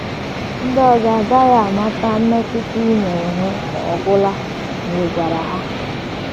Ndị ọzọ agaghị amata mmetụta ị na - enwe ọ gwụla ma ị gwara ha.